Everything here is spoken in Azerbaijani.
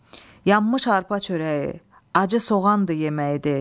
Yanmış arpa çörəyi, acı soğandır yeməyi de.